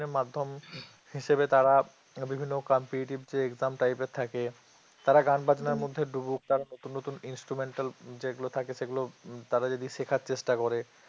মাধ্যম হিসেবে তারা বিভিন্ন competitive eaxm typer এর থাকে তারা গান বাজনার মধ্যে ডুবুক তারা নতুন নতুন instrumental যেগুলো থাকে সেগুলো তারা যদি শেখার চেষ্টা করে